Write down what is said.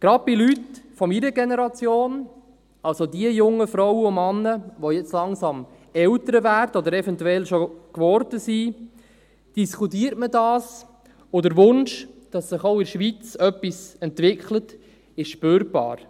Gerade bei Leuten aus meiner Generation – also jene jungen Frauen und Männer, die jetzt langsam Eltern werden oder es eventuell schon geworden sind – diskutiert man dies, und der Wunsch, dass sich auch in der Schweiz etwas entwickelt, ist spürbar.